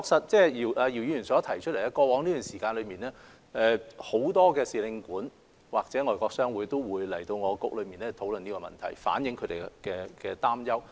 然而，確實如姚議員所提及，在過去一段時間裏，很多使領館或外國商會都會與商務及經濟發展局討論此事，反映他們的憂慮。